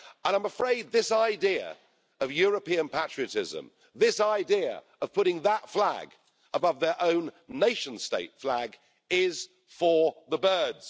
I'm afraid this idea of European patriotism, this idea of putting that flag above their own nation state flag is for the birds.